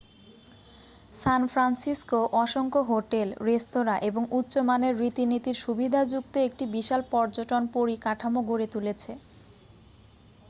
সান Francisco অসংখ্য hotel restaurant এবং উচ্চমানের রীতিনীতির সুবিধাযুক্ত একটি বিশাল পর্যটন পরিকাঠামো গড়ে তুলেছে